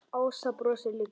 Ása brosir líka.